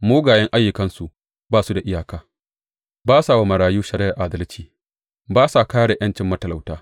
Mugayen ayyukansu ba su da iyaka; ba sa wa marayu shari’ar adalci, ba sa kāre ’yancin matalauta.